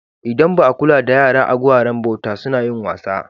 Idan ba a kula da yara a guraren bauta suna yin wasa.